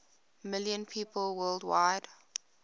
million people worldwide